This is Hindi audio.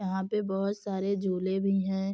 यहाँ पे बहोत सारे झूले भी हैं।